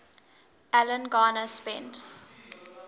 alan garner spent